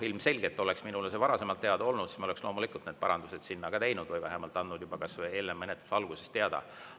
Ilmselgelt, kui see oleks minule varasemalt teada olnud, siis ma oleksin need parandused sinna teinud või vähemalt andnud juba kas või eelnevalt menetluse alguses teada.